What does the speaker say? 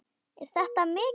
Er þetta mikið?